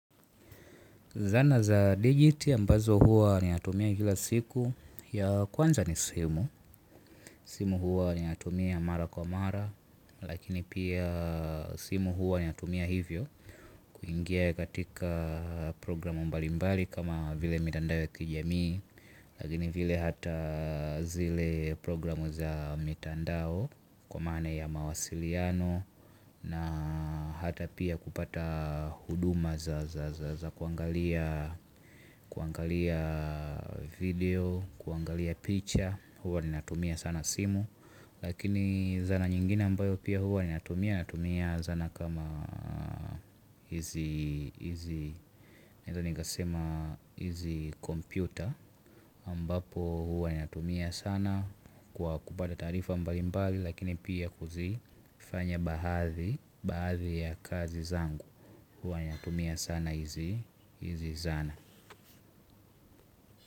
Zana za digiti ambazo huwa ninatumia kila siku ya kwanza ni simu. Simu hua ni atumia mara kwa mara lakini pia simu huwa ninatumia hivyo kuingia katika program mbali mbali kama vile mitandao ya kijamii lakini vile hata zile programu za mitandao kwa maana ya mawasiliano na hata pia kupata huduma za kuangalia kuangalia video, kuangalia pich. Huwa ninatumia sana simu. Lakini zana nyingine ambayo pia huwa ni natumia natumia zana kama hizi computer ambapo huwa ninatumia sana kwa kupata taarifa mbalimbali lakini pia kuzifanya bahadhi bahadhi ya kazi zangu. Huwa ninatumia sana hizi zana.